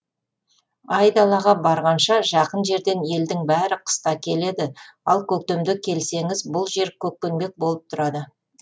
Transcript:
айдалаға барғанша жақын жерден елдің бәрі қыста келеді ал көктемде келсеңіз бұл жер көккеңбек болып тұрады